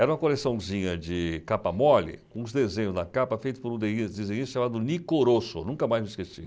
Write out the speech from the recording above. Era uma coleçãozinha de capa mole, com uns desenhos na capa, feito por um desenhista chamado Nicorosso, nunca mais me esqueci.